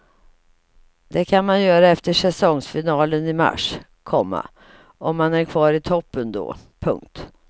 Det kan man göra efter säsongsfinalen i mars, komma om man är kvar i toppen då. punkt